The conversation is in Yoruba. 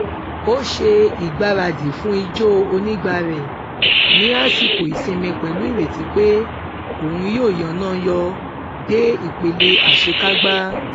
ó ṣe ìgbáradì fún ijó onigba rẹ ní àsìkò ìsinmi pẹlú ìrètí pé òun yóò yánan yọ dé ipele àṣekágbá